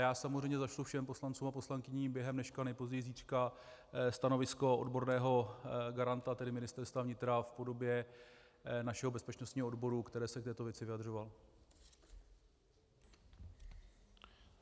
Já samozřejmě zašlu všem poslancům a poslankyním během dneška, nejpozději zítřka, stanovisko odborného garanta, tedy Ministerstva vnitra v podobě našeho bezpečnostního odboru, který se k této věci vyjadřoval.